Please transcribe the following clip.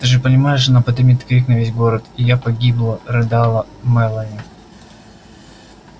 ты же понимаешь она подымет крик на весь город и я погибла рыдала мелани